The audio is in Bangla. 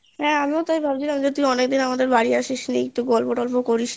হ্যাঁ আমিও তাই ভাবছিলাম যে তুই অনেকদিন আমাদের বাড়ি আসিসনি গল্প টল্পোকরিসনি